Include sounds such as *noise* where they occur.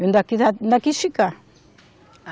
*unintelligible* ainda quis ficar.